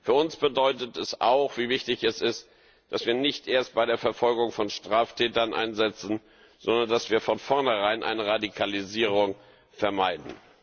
Für uns bedeutet es auch, wie wichtig es ist, dass wir nicht erst bei der Verfolgung von Straftätern einsetzen, sondern dass wir von vornherein eine Radikalisierung vermeiden.